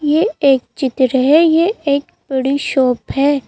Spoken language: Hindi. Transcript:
ये एक चित्र है ये एक बड़ी शॉप है।